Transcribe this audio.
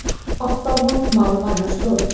Oft fá vond mál vænar stoðir.